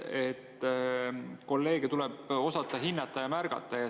Kolleege tuleb osata hinnata ja märgata.